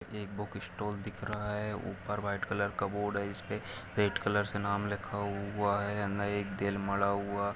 एक बुकस्टाल दिख रहा है ऊपर व्हाइट कलर का बोर्ड है इसपे रेड कलर से नाम लिखा हुआ है अंदर एक दिल मडा हुआ--